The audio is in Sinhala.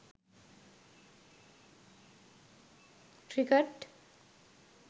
cricket